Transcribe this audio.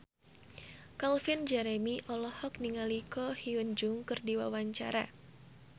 Calvin Jeremy olohok ningali Ko Hyun Jung keur diwawancara